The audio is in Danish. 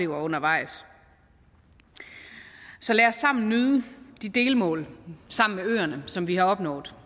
undervejs så lad os sammen nyde de delmål som vi har opnået